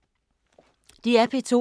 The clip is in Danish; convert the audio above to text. DR P2